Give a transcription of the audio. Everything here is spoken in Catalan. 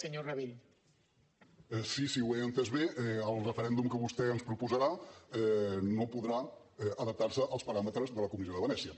si ho he entès bé el referèndum que vostè ens proposarà no podrà adaptar se als paràmetres de la comissió de venècia